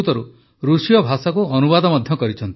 ସେ ଅନେକ ପୁସ୍ତକର ସଂସ୍କୃତରୁ ରୁଷୀୟ ଭାଷାକୁ ଅନୁବାଦ ମଧ୍ୟ କରିଛନ୍ତି